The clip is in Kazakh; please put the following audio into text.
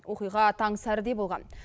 оқиға таң сәріде болған